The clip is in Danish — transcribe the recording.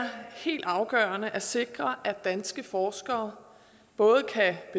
helt afgørende at sikre at danske forskere både kan